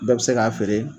Bɛɛ bɛ se k'a feere